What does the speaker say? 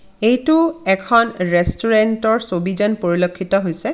এইতো এখন ৰেষ্টুৰেন্ট ৰ ছবি যেন পৰিলক্ষিত হৈছে.